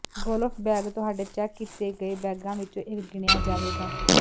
golf bag ਤੁਹਾਡੇ check ਕੀਤੇ ਗਏ ਬੈਗਾਂ ਵਿੱਚੋਂ ਇੱਕ ਗਿਣਿਆ ਜਾਵੇਗਾ